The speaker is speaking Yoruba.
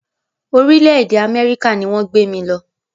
Orílẹ̀-èdè Amẹ́ríkà ni wọ́n gbé mí lọ.